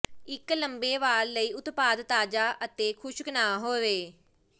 ਇੱਕ ਲੰਮੇ ਵਾਰ ਲਈ ਉਤਪਾਦ ਤਾਜ਼ਾ ਅਤੇ ਖੁਸ਼ਕ ਨਾ ਹੋਵੇ